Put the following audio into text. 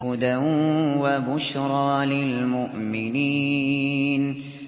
هُدًى وَبُشْرَىٰ لِلْمُؤْمِنِينَ